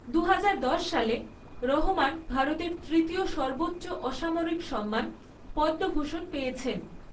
দু হাজার দশ সালে, রহমান ভারতের তৃতীয় সর্বোচ্চ অসামরিক সম্মান পদ্মভূষণ পেয়েছেন।